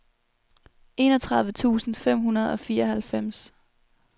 enogtredive tusind fem hundrede og fireoghalvfems